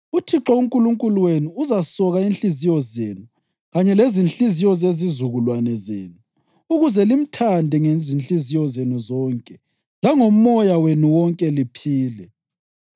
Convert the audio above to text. UThixo uNkulunkulu wenu uzasoka inhliziyo zenu kanye lezinhliziyo zezizukulwane zenu, ukuze limthande ngezinhliziyo zenu zonke langomoya wenu wonke, liphile.